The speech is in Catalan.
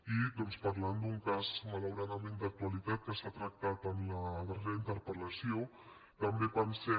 i doncs parlant d’un cas malauradament d’actualitat que s’ha tractat en la darrera interpel·lació també pensem